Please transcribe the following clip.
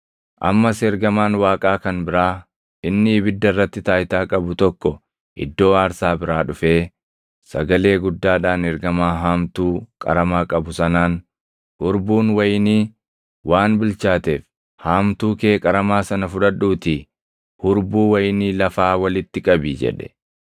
Ammas ergamaan Waaqaa kan biraa inni ibidda irratti taayitaa qabu tokko iddoo aarsaa biraa dhufee, sagalee guddaadhaan ergamaa haamtuu qaramaa qabu sanaan, “Hurbuun wayinii waan bilchaateef haamtuu kee qaramaa sana fudhadhuutii hurbuu wayinii lafaa walitti qabi” jedhe.